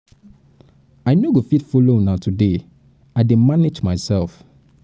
i no go fit follow fit follow una today i dey manage myself um